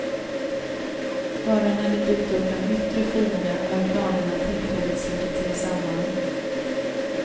Bara när det dykt upp en yttre fiende har klanerna tillfälligt slutit sig samman.